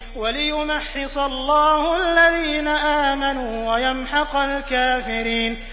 وَلِيُمَحِّصَ اللَّهُ الَّذِينَ آمَنُوا وَيَمْحَقَ الْكَافِرِينَ